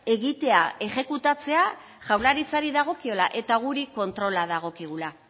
egitea exekutatzea jaurlaritzari dagokiola eta guri kontrola dagokigula